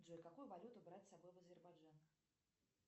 джой какую валюту брать с собой в азербайджан